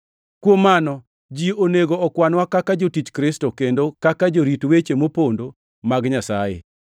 Kuom mano, ji onego okwanwa kaka jotich Kristo, kendo kaka jorit weche mopondo mag Nyasaye.